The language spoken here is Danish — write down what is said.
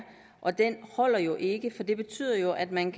og den holder jo ikke for det betyder at man